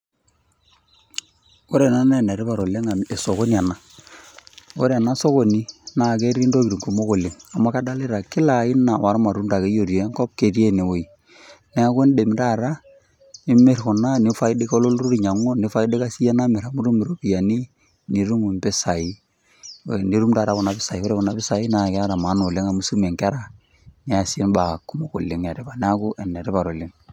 Ore ena naa enetipat amu esokoni ena. Ore ena sokoni na ketii tokitin kumok ooleng amu kadolita kila aina ormatunda akeyie otii enkop ketii ene nguei. Neaku idim taata imir kuna nifaidika olturur alo ainyangu nifaidika yie nitum ropiyiani nitum mpisai nitum taata mpisai ore kuna pisai keeta maana ooleng amu isumie nkera niasie baa kumok etipat neaku enetipat oooleng.